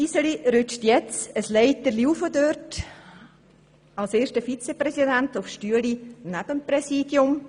Iseli rückt nun eine Stufe der Leiter hinauf, als erster Vizepräsident auf den Stuhl neben dem Ratspräsidium.